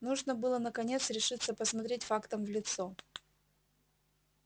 нужно было наконец решиться посмотреть фактам в лицо